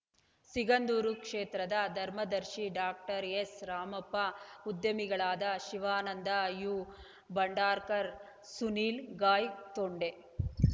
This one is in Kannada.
ಸಿಗಂದೂರು ಕ್ಷೇತ್ರದ ಧರ್ಮದರ್ಶಿ doctor S Ramappa ಉದ್ಯಮಿಗಳಾದ Shivananda you Bhandarkar Sunil ಗಾಯ್‌ತೊಂಡೆ